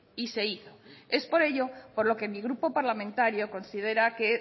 y se hizo es por ello por lo que mi grupo parlamentario considera que